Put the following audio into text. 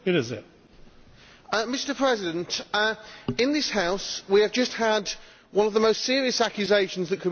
Mr President, in this House we have just had one of the most serious accusations that could be levelled at anyone